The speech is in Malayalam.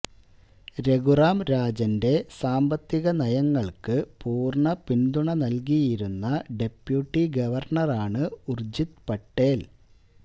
രഘുറാം രാജന്റെ സാമ്പത്തിക നയങ്ങള്ക്കു പൂര്ണ പിന്തുണ നല്കിയിരുന്ന ഡപ്യൂട്ടി ഗവര്ണറാണ് ഉര്ജിത് പട്ടേല്